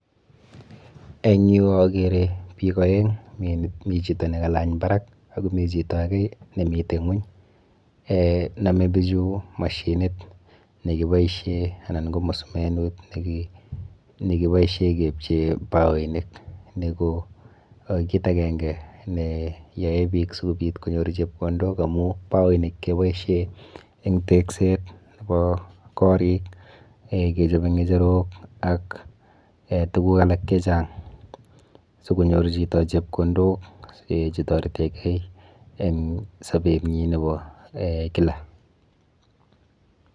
En yu agere biik aeng', mi chito ne kalany barak ako mi chito age, ne miten inguny. Name bichu mashinit ne kiboisien anan ko musumenut, ne kiboisien kepchee baoinik. Ni ko kiit agenge ne yae biik, sikobit konyor chepkondok amu baoinik keboishien eng' tegset nebo korik, kechape ngecherok, ak tuguk alak che chang', sikonyor chito chepkondok che toretenkey, en sobet nyi nebo kila